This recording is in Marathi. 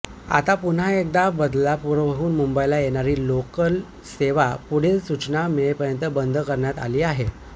आता पुन्हा एकदा बदलापूरहून मुंबईला येणारी लोकल सेवा पुढील सूचना मिळेपर्यंत बंद करण्यात आली आहे